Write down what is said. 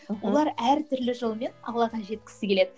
мхм олар әртүрлі жолмен аллаға жеткісі келеді